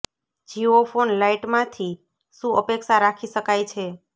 Jio phone લાઈટમાં થી શું અપેક્ષા રાખી શકાય છે